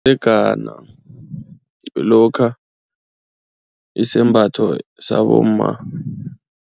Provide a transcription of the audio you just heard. gana lokha isembatho sabomma.